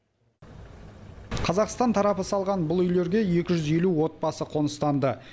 қазақстан тарапы салған бұл үйлерге екі жүз елу отбасы қоныстанды